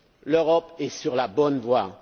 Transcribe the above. L'Europe est sur la bonne voie!